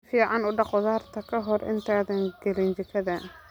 Si fiican u dhaq khudaarta ka hor intaadan gelin jikada.